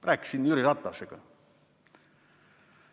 Rääkisin Jüri Ratasega.